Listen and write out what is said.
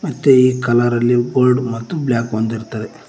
ಮತ್ತೆ ಈ ಕಲರ್ ಅಲ್ಲಿ ಗೋಲ್ಡ್ ಮತ್ತು ಬ್ಲ್ಯಾಕ್ ಒಂದ್ ಇರತ್ತದೆ.